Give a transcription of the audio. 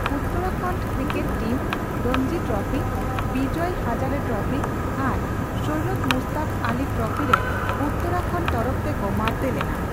Uttarakhand cricket team Ranji trophy, Vijay Hazare trophy ᱟᱨ Syed Mushtaq Ali trophy ᱨᱮ ᱩᱛᱛᱚᱨᱟᱠᱷᱚᱱᱰ ᱛᱚᱨᱚᱯᱷ ᱛᱮᱠᱚ ᱢᱟᱲᱛᱮ ᱞᱮᱱᱟ ᱾